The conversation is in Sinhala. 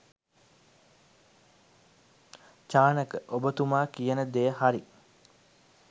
චානක ඔබතුමා කියන දෙය හරි.